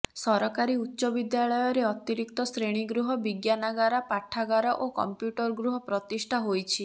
ସରକାରୀ ଉଚ୍ଚ ବିଦ୍ୟାଳୟରେ ଅତିରିକ୍ତ ଶ୍ରେଣୀଗୃହ ବିଜ୍ଞାନାଗାର ପାଠାଗାର ଓ କମ୍ପ୍ୟୁଟରଗୃହ ପ୍ରତିଷ୍ଠା ହୋଇଛି